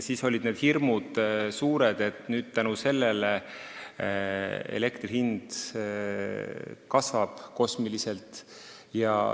Siis oli suur hirm, et elektri hind kasvab kosmiliselt.